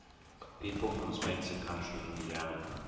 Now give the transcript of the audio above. people from spencer county indiana